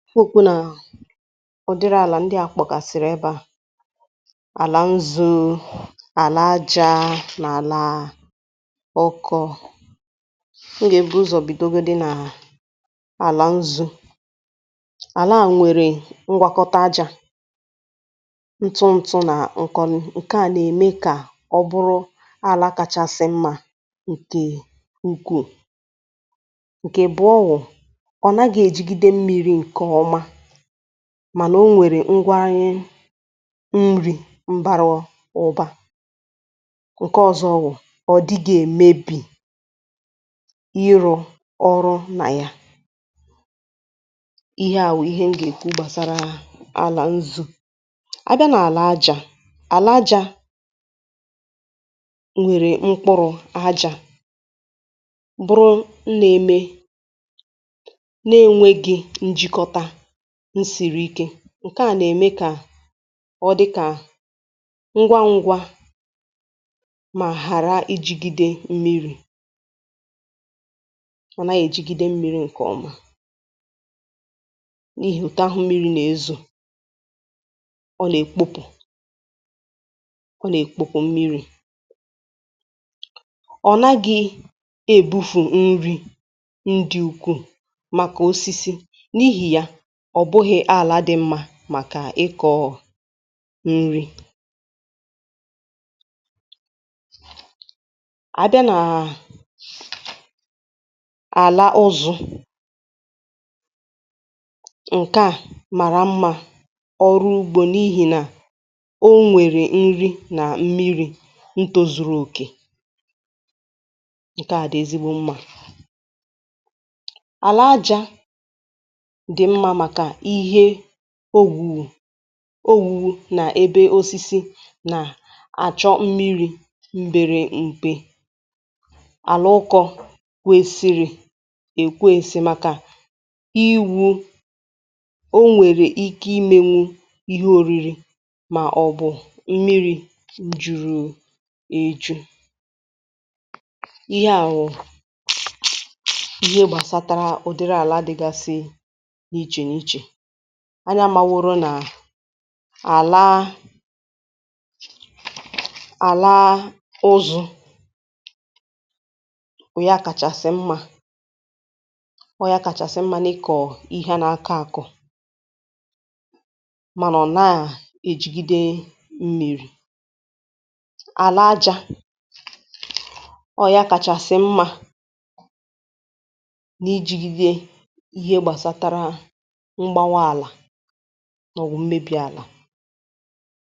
ụdịrị àlà ndị à kpọ̀kàsị̀rị̀ ebe à, àlà nzu̇, àlà ajȧ nà àlà ọkọ̇ọ̇, ngà e bụ̀ ụzọ̀ bìdogo dị nà àlà nzu̇, àlà a nwèrè ngwakọta ajȧ ntụ ntụ nà nkọ̀n ǹkè a nà-ème kà ọ̀ bụrụ ala kachasị mma ǹkè ukwuu, ǹkè abụ̀o bu na onaghi egide mmiri nke oma mànà o nwèrè ngwaanye nri̇ m̀barọ ụ̀ba, ǹke ọzọ wụ̀ ọ̀ dịgà èmebì irȯ ọrụ nà ya ihe à bu ihe m gà-èku gbàsara àlà nzu̇. Abịa nà àlà àjà, àlà àjà ǹwèrè mkpụrụ̇ àjà na enweghi njikota nsìrì ike ǹkè a nà-ème kà ọ dịkà ngwa ngwa mà hàrà ijigide mmiri, ọ nà ànyị ejigide mmiri ǹkè ọma n’ihì òtahụ n’ezo ọ nà-èkpopù ọ nà-èkpopù mmiri. ọ nàghị̇ èbufù nri̇ ndị̇ ukwu màkà osisi n’ihì ya màkà ịkọ̇ọ̇ nri. Abịa nà àlà Uzọ̇, ǹkè a màrà mma maka ọrụ ugbȯ n’ihì nà o nwèrè nri nà mmiri̇ ntozùrù òkè ,ǹkè a dị̀ ezigbo mma. Alà ajȧ dị̀ mma màkà ihe owuwo na n’ebe osisi nà-àchọ̀ mmiri̇ m̀bèrè m̀kpe, àlà ụkọ̇ kwesiri èkwesì màkà iwu̇ o nwèrè ike imėnwu ihe ȯri̇ri̇ màọ̀bụ̀ mmiri̇ jùrù èju̇. ihe à wụ̀ ihe gbàsatàrà ụdị̀rị àla dị̇gàsị̇ iche n'iche, anya ama woro nà-àla àla uzu̇ bu ya kàchàsị mma ọọ̇ ya kàchàsị mma n’ịkọ̀ ihe nà-akọ̇ àkọ̀ mànà ọ̀ na-ejigide mmeri, àlaja ọ̀ ya kàchàsị mma nà ijigide ihe gbàsatara mgbawa ala ma obu mmebì alàw